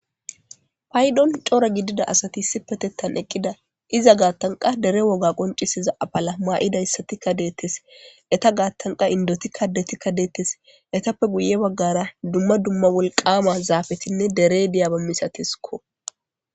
Paydon cora gidida asati issipetettan eqqida iza gaattanqa dere woga qoncisiza apala maa7idayssatikka deettes eta gaattanqa indotikka detikka deettes etappe guye baggara dumma dumma wolqama zaafetinne dere diyaaba misateskko.